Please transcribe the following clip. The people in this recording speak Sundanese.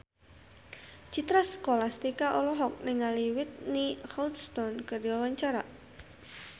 Citra Scholastika olohok ningali Whitney Houston keur diwawancara